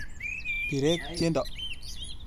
Birek tyendo.